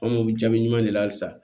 An m'o jaabi ɲuman de la halisa